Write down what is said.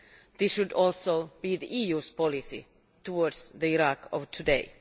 This should also be the EU's policy towards the Iraq of today.